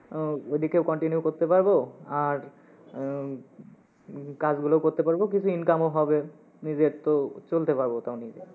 আহ ওই দিকেও continue করতে পারবো, আর উম কাজগুলোও করতে পারবো কিছু income ও হবে, নিজের তো চলতে পারবো